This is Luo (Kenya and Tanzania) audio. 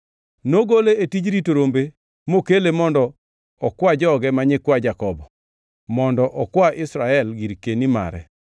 nogole e tij rito rombe mokele mondo okwa joge ma nyikwa Jakobo, mondo okwa Israel girkeni mare.